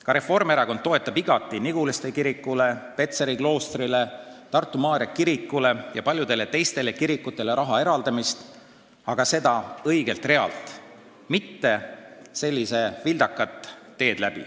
Ka Reformierakond toetab igati õigeusu kirikule Petseri kloostri eest kompensatsiooniks raha maksmist, samuti Tartu Maarja kirikule ja paljudele teistele kirikutele raha eraldamist, aga seda õigelt eelarverealt, mitte sellisel vildakal teel.